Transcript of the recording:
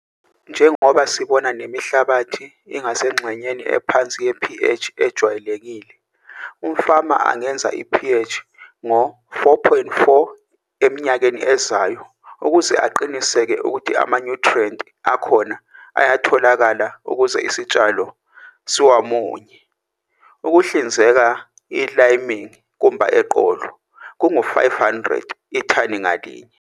Njengoba sibona lemihlabathi ingasengxenyeni ephansi yepH ejwayelekile. Umfama angengeza ipH ngo-4,4 eminyakeni ezayo ukuze aqinisekise ukuthi amanyuthriyenti akhona ayatholakala ukuze isitshalo siwamunye. Ukuhlinzeka iliming kumba eqolo, kungu-R500 ithani ngalinye.